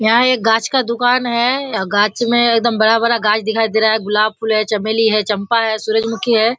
यहाँ एक गाछ का दूकान है गाछ में एकदम बड़ा-बड़ा गाछ दिखाई दे रहा है गुलाब फूल है चमेली है चम्पा है सुरजमुखी हैं।